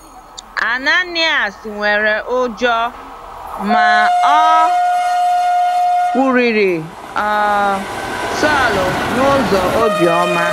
Ananias nwere ụjọ, ma o kwurịrị um Saulu n’ụzọ obiọma.